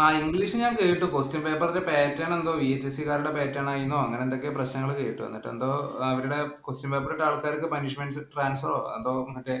ആ english ഞാന്‍ കേട്ടു. Question paper ഇന്‍റെ pattern എന്തോ VHSC ക്കാരുടെ pattern ആയെന്നോ അങ്ങനെ എന്തൊക്കെയോ പ്രശ്നങ്ങള്‍ കേട്ടു. എന്നിട്ട് എന്തോ അവരുടെ question paper ഇട്ട ആളുകള്‍ക്ക് punishment ഓ, transfer ഓ എന്തോ ഒക്കെ